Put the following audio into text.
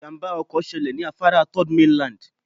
Ìjàmbá ọkọ̀ ṣẹlẹ̀ ní afárá Third mainland